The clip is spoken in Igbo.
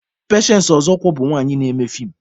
Pechensị Ọzọkwọr bụ nwanyị na-eme fiim.